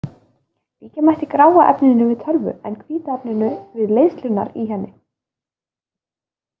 Líkja mætti gráa efninu við tölvu en hvíta efninu við leiðslurnar í henni.